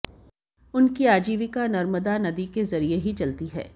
उनकी आजीविका नर्मदा नदी के जरिए ही चलती है